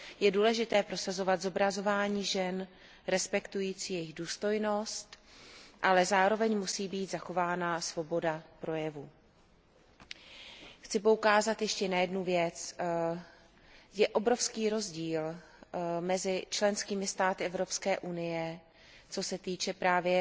Je důležité prosazovat zobrazování žen respektující jejich důstojnost, ale zároveň musí být zachována svoboda projevu. Chci poukázat ještě na jednu věc, je obrovský rozdíl mezi členskými státy Evropské unie, co se týče právě